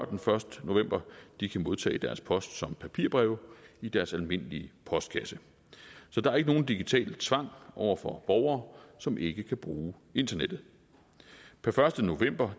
den første november de kan modtage deres post som papirbreve i deres almindelige postkasse så der er ikke nogen digital tvang over for borgere som ikke kan bruge internettet per første november